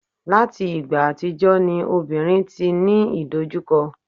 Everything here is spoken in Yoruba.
láti ìgbà àtijọ́ ni obìnrin ti ní idojukọ